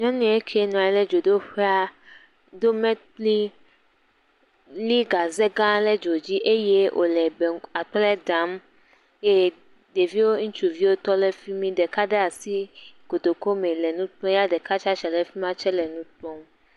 Nyɔnu eke nɔa nyi ɖe dzodoƒa do mekpli li gaze gã le dzo dzi le bɛnk.. akple ɖam eye ɖeviwo ŋutsuviwo tɔ le vi mi, ɖeka ɖe asi kotoku me le nu kpɔm ya ɖeka tsa tsitsre ɖe fi ma tsɛ le nu kpɔm.